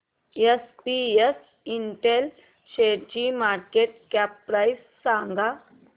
SPS Intel शेअरची market cap price सांगा